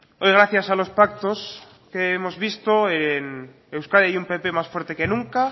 hoy gracias a los pactos que hemos visto en euskadi hay un pp más fuerte que nunca